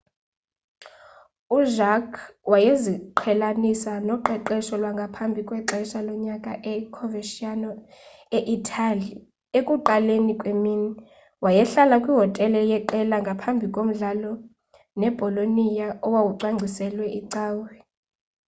ujarque wayeziqhelanisa noqeqesho lwangaphambi kwexesha lonyaka e-coverciano e-itali ekuqaleni kwemini. wayehlala kwihotele yeqela ngaphambi komdlalo nebolonia owawucwangciselwe icawe